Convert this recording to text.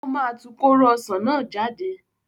Ó máa tu kóró ọsàn náà jáde.